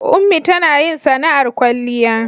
ummi tanayin sana'ar kwalliya